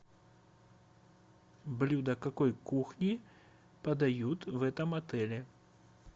блюда какой кухни подают в этом отеле